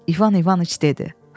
İvan İvanıç dedi: